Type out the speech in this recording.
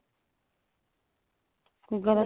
ਗਲਤ